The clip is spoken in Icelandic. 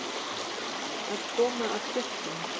Að koma af fjöllum